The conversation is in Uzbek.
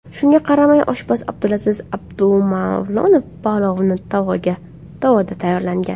Shunga qaramay, oshpaz Abdulaziz Abdumavlonov palovni tovada tayyorlagan.